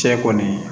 Cɛ kɔni